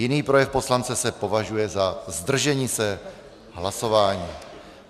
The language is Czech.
Jiný projev poslance se považuje za zdržení se hlasování.